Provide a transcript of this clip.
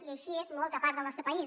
i així és molta part del nostre país